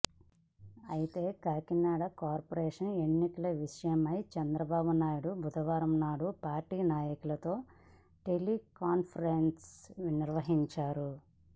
అయితే కాకినాడ కార్పోరేషన్ ఎన్నికల విషయమై చంద్రబాబునాయుడు బుదవారం నాడు పార్టీ నాయకులతో టెలికాన్పరెన్స్ నిర్వహించారు